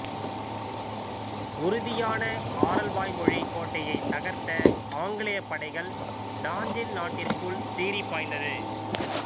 உறுதியான ஆரல்வாய்மொழி கோட்டையை தகர்த்த ஆங்கிலப் படைகள் நாஞ்சில் நாட்டிற்குள் சீறி பாய்ந்தது